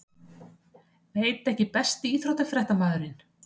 Veit ekki Besti íþróttafréttamaðurinn?